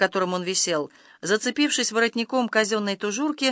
которым он висел зацепившись воротником казённой тужурки